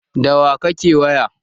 Da wa kake waya?